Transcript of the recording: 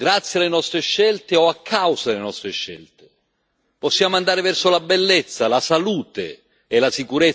Possiamo andare verso la bellezza, la salute e la sicurezza del pianeta, ma possiamo andare anche verso il disastro.